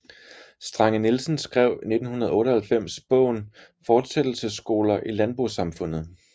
Strange Nielsen skrev i 1998 bogen Fortsættelsesskoler i landbosamfundet